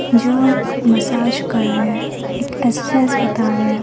जो मसाज कर रहे है। एक एक्सरसाइज बता रहे है।